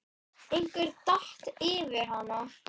Einhver datt yfir hana.